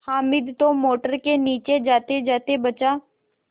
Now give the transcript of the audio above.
हामिद तो मोटर के नीचे जातेजाते बचा